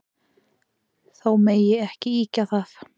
Þó megi ekki ýkja það.